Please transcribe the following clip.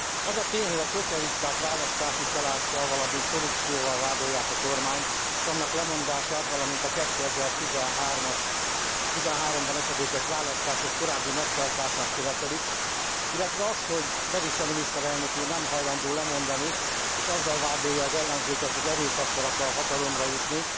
Az a tény, hogy a szocialisták választási csalással, valamint korrupcióval vádolják a kormányt, s annak lemondását, valamint a 2013 ban esedékes választások korábbi megtartását követelik, illetve az, hogy Berisha miniszterelnök úr nem hajlandó lemondani, és azzal vádolja az ellenzéket, hogy erőszakkal akar hatalomra jutni,